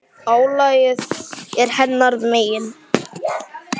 Álagið er hennar megin.